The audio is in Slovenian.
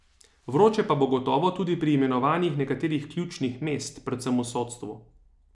Vroče pa bo gotovo tudi pri imenovanjih nekaterih ključnih mest, predvsem v sodstvu.